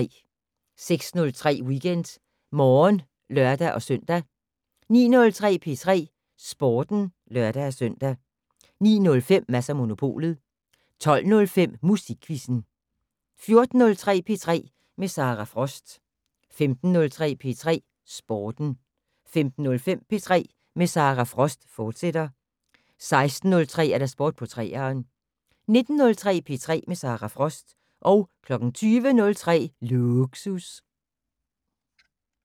06:03: WeekendMorgen (lør-søn) 09:03: P3 Sporten (lør-søn) 09:05: Mads & Monopolet 12:05: Musikquizzen 14:03: P3 med Sara Frost 15:03: P3 Sporten 15:05: P3 med Sara Frost, fortsat 16:03: Sport på 3'eren 19:03: P3 med Sara Frost 20:03: Lågsus